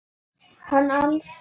Hann ansaði dræmt.